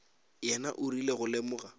yena o rile go lemoga